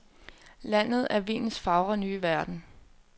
Landet er vinens fagre nye verden.